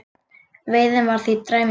Veiðin var því dræm í byrjun